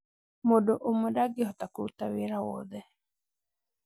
Mũndũ ũmwe ndangĩhota kũrũtaa wĩra wothe